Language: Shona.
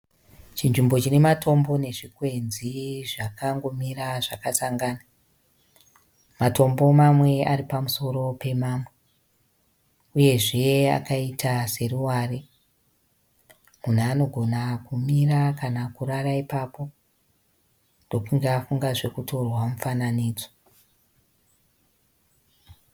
Chinzvimbo chinematombo nezvikwenzi zvakangomira zvakasangana. Matombo mamwe aripamusoro pemamwe. Uyezve akaita seruware. Munhu anogona kumira kana kurara ipapo, ndokunge afunga zvokutorwa mufananidzo.